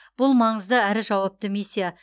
бұл маңызды әрі жауапты миссия